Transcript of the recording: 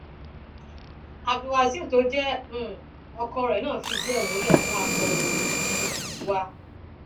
abdulwásíù tó jẹ um ọkọ rẹ náà fìdí ẹ múlẹ fún akọròyìn um wa